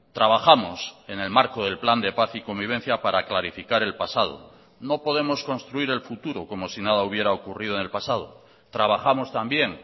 trabajamos en el marco del plan de paz y convivencia para clarificar el pasado no podemos construir el futuro como si nada hubiera ocurrido en el pasado trabajamos también